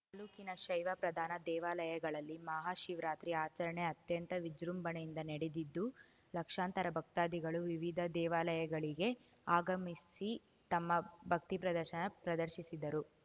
ತಾಲ್ಲೂಕಿನ ಶೈವ ಪ್ರಧಾನ ದೇವಾಲಯಗಳಲ್ಲಿ ಮಹಾ ಶಿವರಾತ್ರಿ ಆಚರಣೆ ಅತ್ಯಂತ ವಿಜೃಂಭಣೆಯಿಂದ ನಡೆದಿದ್ದು ಲಕ್ಷಾಂತರ ಭಕ್ತಾದಿಗಳು ವಿವಿಧ ದೇವಾಲಯಗಳಿಗೆ ಆಗಮಿಸಿ ತಮ್ಮ ಭಕ್ತಿ ಪ್ರದರ್ಶನ ಪ್ರದರ್ಶಿಸಿದರು